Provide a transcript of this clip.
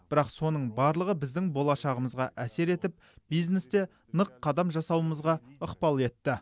бірақ соның барлығы біздің болашағымызға әсер етіп бизнесте нық қадам жасауымызға ықпал етті